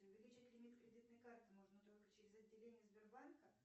увеличить лимит кредитной карты можно только через отделение сбербанка